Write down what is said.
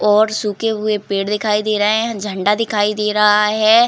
और सूके हुवे पेड़ दिखाई दे रहे हैं। झण्डा दिखाई दे रहे है।